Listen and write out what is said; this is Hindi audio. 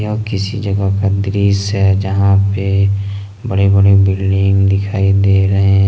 किसी जगह का दृश्य है जहां पे बड़े बड़े बिल्डिंग दिखाई दे रहे हैं।